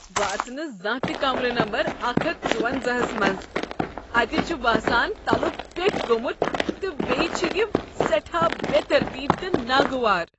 بہٕ اژٕ نہٕ زانٛہہ تہ کمرٕ نمبر اکھ ہتھ ژۄونزاہَس منٛز، اتہ چھ باسان تَلکُ پیٹھ گوٚمت تہٕ بیٚیہ چھ یہ سیٹھاہ بے ترتیب تہ ناگوار